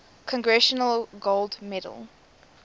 congressional gold medal